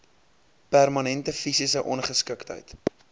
permanente fisiese ongeskiktheid